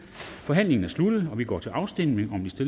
forhandlingen er sluttet og vi går til afstemning om de